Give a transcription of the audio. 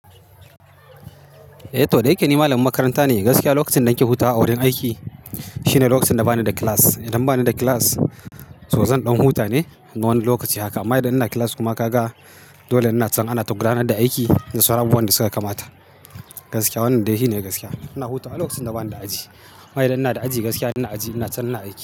Eh to, da yake ni malamin makaranta ne, gaskiya lokacin da nake hutaw a wurin aiki shine lokacin da bani da class. Idan bani da class, so za ɗan huta ne. Na wani lokaci haka. Amma idan ina class kuma ka ga dole ina can ana ta gudanar da aiki da saura abubuwan da suka kamata. Gaskiya wannan dai hine gaskiya. Ina huta a lokacin da bani da aji. Amma idan ina da aji gaskiya ina aji, ina can ina aiki.